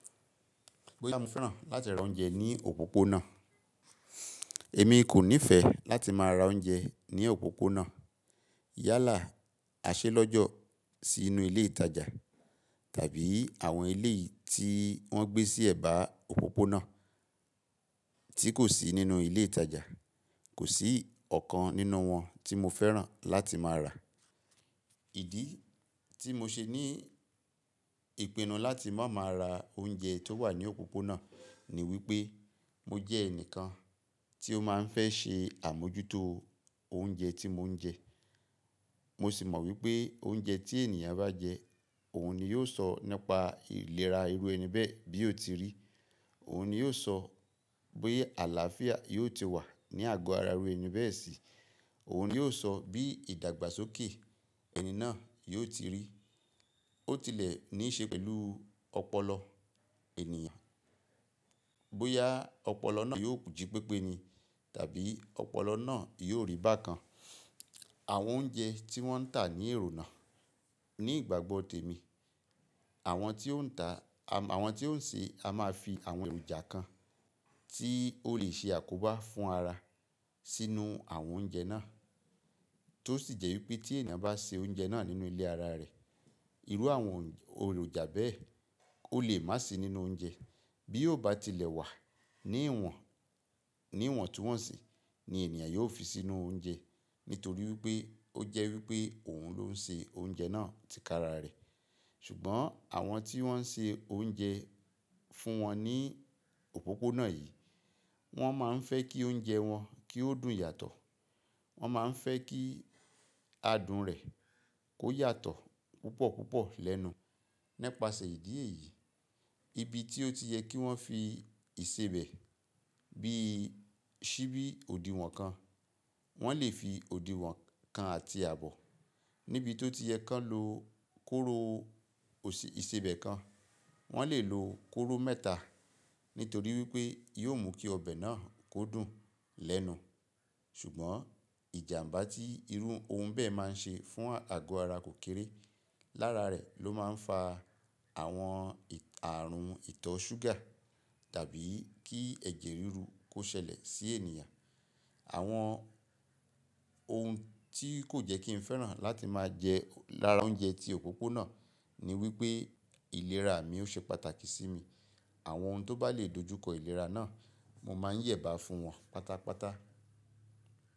Bóyá mo fẹ́ràn láti ra oúnjẹ ní òpópónà. Èmi kò nífẹ̀ẹ́ láti máa ra oúnjẹ ní òpópónà yálà, àsẹlọ́jọ̀ sí inú ilé ìtajà tàbí àwọn ilé tí wọ́n gbé sí ẹ̀bá òpópónà tí kò sí nínú ilé ìtajà. Kò sí ọ̀kan nínú wọn tí mo fẹ́ràn láti máa rà. Ìdí tí mo ṣe ní ìpinnu láti má máa ra oúnjẹ tó wà ní òpópónà ní wípé mo jẹ́ ẹnìkan tí ó máa ń fẹ́ ṣe àmójútó oúnjẹ tí mò ń jẹ. Mo sì mọ̀ wípé oúnjẹ tí ènìyàn bá jẹ, òun ni yóò sọ nípa ìlera irú ẹni bẹ́ẹ̀ bí ó ti rí. Òun ni yóò sọ bóyá àlàáfíà yóò ti wà ní àgọ́ ara irú ẹni bẹ́ẹ̀ sí i. Òun ni yóò sọ bí ìdàgbàsókè ẹni náà yóò ti rí. Ó tilẹ̀ ní í ṣe pẹ̀lú ọpọlọ ènìyàn. Bóyá ọpọlọ náà yóò jí pẹ́pẹ́ni tàbí ọpọlọ náà yóò rí bákan. Àwọn oúnjẹ tí wọ́n ń tà ní èrò náà ní ìgbàgbọ́ tèmi. Àwọn tí ó ń tà, àwọn tí ó ń ṣe, a máa fi àwọn èròjà kan tí ó lè ṣe àkóbá fún ara sínú àwọn oúnjẹ náà. Tó sì jẹ́ wípé tí ènìyàn bá ṣe oúnjẹ náà nínú ilé ara rẹ̀, irú àwọn èròjà bẹ́ẹ̀ ó lè má sì í nínú oúnjẹ. Bí ó bá tilẹ̀ wà ní ìwọ̀n, ní ìwọ̀ntúnwọ̀nsì ni ènìyàn yóò fi sínú oúnjẹ. Nítorí wípé ó jẹ́ wípé òun ló ń ṣe oúnjẹ náà tí kára rẹ̀. Ṣùgbọ́n àwọn tí wọ́n ń ṣe oúnjẹ fún wọn ní òpópónà yìí, wọ́n máa ń fẹ́ kí oúnjẹ wọn kí ó dùn yàtọ̀. Wọ́n máa ń fẹ́ kí adùn rẹ̀ kó yàtọ̀ púpọ̀ púpọ̀ lẹ́nu. Nípasẹ̀ ìdí èyí, ibi tí ó ti yẹ kí wọ́n fi ìsebẹ̀ bí i síbí òdiwọ̀n kan, wọ́n lè fi òdiwọ̀n kan àti àbọ̀. Níbi tí ó ti yẹ kí wọ́n lo kóró ìsebẹ̀ kan, wọ́n lè lo kóró mẹ́ta. Nítorí wípé yóò mú kí ọbẹ̀ náà kó dùn lẹ́nu. Ṣùgbọ́n ìjàmbá tí irú ohun bẹ́ẹ̀ máa ń ṣe fún àgọ́ ara kò kéré. Lára rẹ̀ ló máa ń fa àwọn ààrùn ìtọ́ ṣúgà tàbí kí ẹ̀jẹ̀ ríru kó ṣẹlẹ̀ sí ènìyàn. Àwọn ohun tí kò jẹ́ kí n fẹ́ràn láti máa jẹ lára oúnjẹ tí òpópónà ní wípé ìlera mi ó ṣe pàtàkì sí mi. Àwọn ohun tó bá lè dojúkọ ìlera náà, mo máa ń yẹ̀bá fún wọn pátápátá.